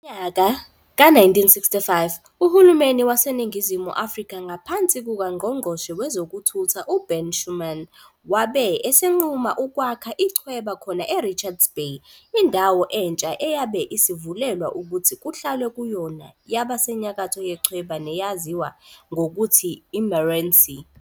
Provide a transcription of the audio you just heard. Ngonyaka ka-1965, uHulumeni waseNingizimu Afrika ngaphansi kukaNgqongqoshe Wezokuthutha UBen Schoeman wabe esenquma ukwakha ichweba khona e-Richards Bay. Indawo entsha eyabe isivulelwa ukuthi kuhlalwe kuyona yaba seNyakatho yechweba neyaziwa ngokuthi i-Meerensee.